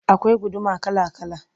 akwai guduma kala kala